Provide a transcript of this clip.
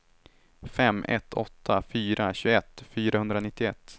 fem ett åtta fyra tjugoett fyrahundranittioett